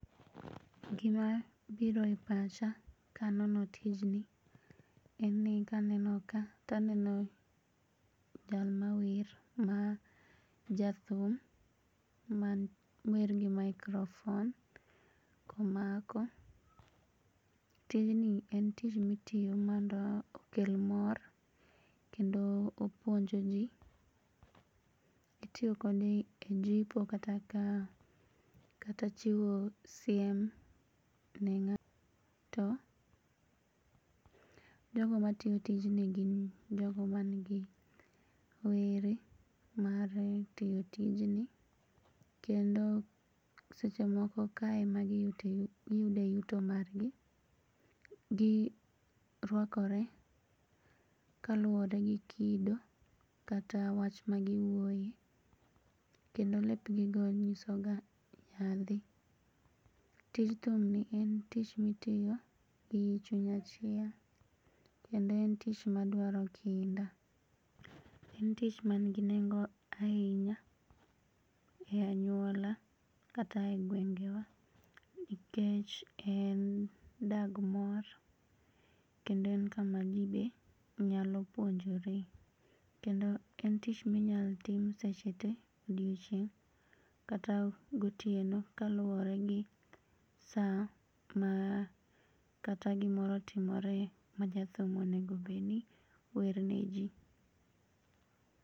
Gimabiro e pacha kanono tijni en ni kaneno ka taneno jal mawer ma jathum mawer gi microphone komako. Tijni en tich mitiyo mondo okel mor kendo opuonj jii. Itiyo kode e jipo kata kao kata chiwo siem ne ng'ato. Jogo matiyo tijni gin jogo manigi were mar tiyo tijni kendo sechemoko kae emagiyude yuto margi. Girwakore kaluore gi kido kata wach magiwuoe. Kendo lepgigo nyisoga nyadhi. Tij thumni en tich mitiyo gi chuny achiel kendo en tich madwaro kinda. En tich manigi nengo ainya e anyuola kata e gwengewa nikech en dag mor kendo en kama jii be nyalopuonjore. Kendo en tich minyalotim seche tee odiochieng' kata gotieno kaluore gi saa ma kata gimoro otimore ma jathum onego obedni werneji.